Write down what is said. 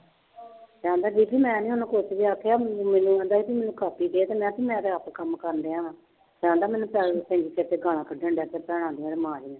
ਕਹਿੰਦਾ ਬੀਬੀ ਮੈਂ ਨੀ ਉਹਨੂੰ ਕੁਛ ਵੀ ਆਖਿਆ ਮੈਨੂੰ ਕਹਿੰਦਾ ਸੀ ਵੀ ਮੈਨੂੰ ਕਾਪੀ ਦੇ ਤੇ ਮੈਂ ਵੀ ਮੈਂ ਤਾਂ ਆਪ ਕੰਮ ਕਰਨਡਿਆ ਵਾਂ ਕਹਿੰਦਾ ਮੈਨੂੰ ਤੇ ਗਾਲਾਂ ਕੱਢਣ ਲੱਗ ਪਿਆ ਭੈਣਾਂ ਦੀਆਂ ਮਾਂ ਦੀਆਂ।